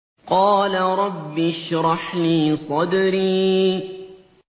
قَالَ رَبِّ اشْرَحْ لِي صَدْرِي